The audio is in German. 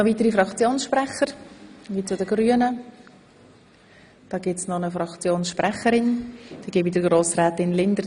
Frau Grossrätin Linder hat das Wort als Fraktionssprecherin der Grünen.